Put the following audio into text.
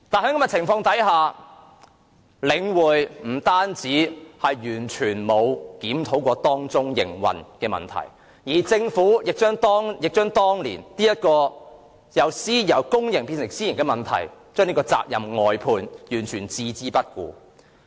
不過，在這種情況下，領匯完全沒有檢討其營運問題，政府亦將當年由公營變成私營的責任外判，對各項問題完全置之不理。